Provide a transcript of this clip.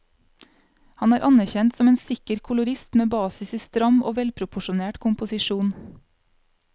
Han er anerkjent som en sikker kolorist med basis i stram og velproporsjonert komposisjon.